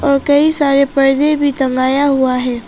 और कई सारे पर्दे भी टंगाया हुआ है।